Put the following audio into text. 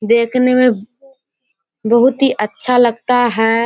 देखने में बहुत ही अच्छा लगता है।